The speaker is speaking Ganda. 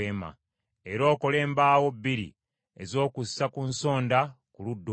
era okole embaawo bbiri ez’okussa ku nsonda ku ludda olwo.